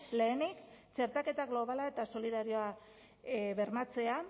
lehenik txertaketa globala eta solidarioa bermatzea